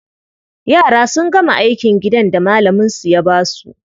Yara sun gama aikin gidan da malaminsu ya ba su.